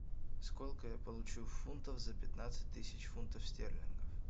сколько я получу фунтов за пятнадцать тысяч фунтов стерлингов